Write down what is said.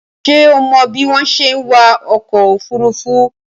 Ṣé o mọ bí wọ́n ṣe ń wa ọkọ̀ òfurufú?